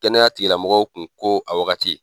Kɛnɛya tigilamɔgɔw kun ko a wagati